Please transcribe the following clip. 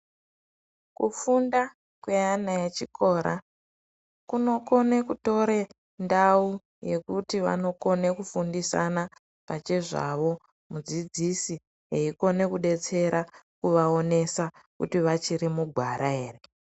Kufunda kweana echikora, kunokone kutore ndau yekuti vanokone kufundisana pachezvavo ,mudzidzisi eikone kudetsera kuvaonesa, kuti vachiri mugwara ere.